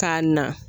K'a na